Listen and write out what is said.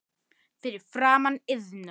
Fyrir framan Iðnó.